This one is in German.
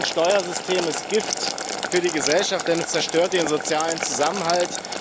So ein Steuersystem ist Gift für die Gesellschaft, denn es zerstört den sozialen Zusammenhalt.